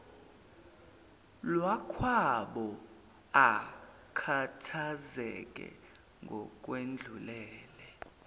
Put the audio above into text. lwakwabo akhathazeke ngokwedlulele